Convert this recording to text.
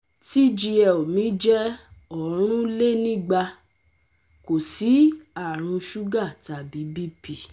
TGL mi jẹ́ orinlenigba, kò sí àrùn suga tàbí BP